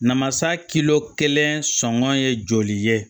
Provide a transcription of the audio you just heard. Namasa kilo kelen sɔngɔ ye joli ye